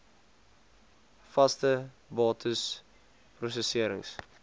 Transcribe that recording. vaste bates prosesserings